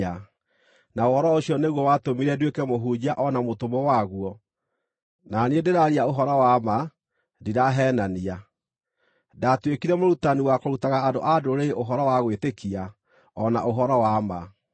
Na ũhoro ũcio nĩguo watũmire nduĩke mũhunjia o na mũtũmwo waguo na niĩ ndĩraaria ũhoro wa ma, ndiraheenania. Ndatuĩkire mũrutani wakũrutaga andũ-a-Ndũrĩrĩ ũhoro wa gwĩtĩkia o na ũhoro wa ma.